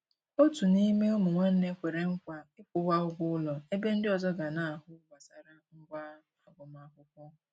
Òtù n'ime ụmụ nwánne kwere nkwa ịkwụwa ụgwọ ụlọ, ebe ndi ọzọ ga na-ahụ gbasara ngwá agụmakwụkwọ.